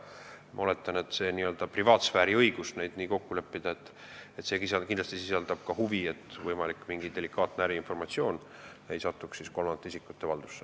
Ma oletan, et see n-ö privaatsfääri õigus niimoodi kokku leppida kindlasti eeldab huvi, et võimalik delikaatne äriinformatsioon ei satuks kolmandate isikute valdusse.